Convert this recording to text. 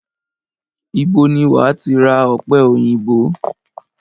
Ibo ni wàá ti ra ọ̀pẹ òyìnbó?